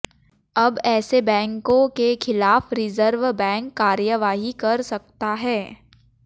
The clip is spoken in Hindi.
अब ऐसे बैंको के खिलाफ रिजर्व बैंक कार्रवाई कर सकता है